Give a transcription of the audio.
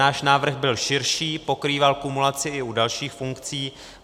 Náš návrh byl širší, pokrýval kumulaci i u dalších funkcí.